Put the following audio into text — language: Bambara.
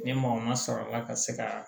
Ni maa o maa sɔrɔla ka se ka